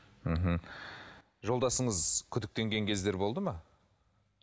мхм жолдасыңыз күдіктенген кездері болды ма